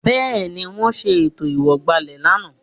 Bẹ́ẹ̀ni, wọ́n ṣe ètò ìwọ̀gbàlẹ̀ lánàá